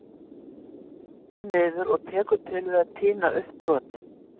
Beygir sig niður og tekur til við að tína upp brotin.